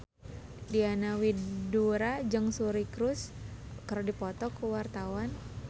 Diana Widoera jeung Suri Cruise keur dipoto ku wartawan